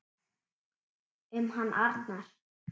Um hann Arnar.